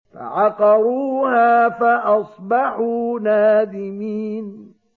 فَعَقَرُوهَا فَأَصْبَحُوا نَادِمِينَ